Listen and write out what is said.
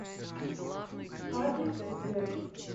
адрес сдэк